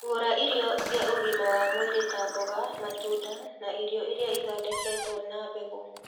Gũra irio cia ũgima wa mwĩrĩ ta mboga, matunda na irio iria ithondeketwo na mbegũ.